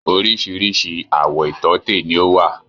Oríṣìíríṣìí àwọ̀ ìtọ́tè ni ó wà.